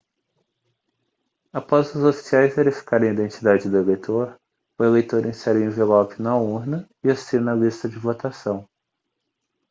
após os oficiais verificarem a identidade do eleitor o eleitor insere o envelope na urna e assina a lista de votação